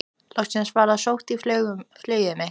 Loks var ég sótt í flugið mitt.